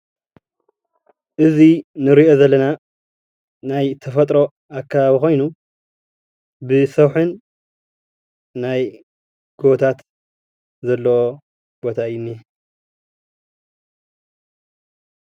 እዚ እንሪኦ ዘለና ናይ ተፈጥሮ ኣከባቢ ኮይኑ ብሰውሕን ናይ ጎቦታት ዘለዎ ቦታ እዩ ዝነሄ፡፡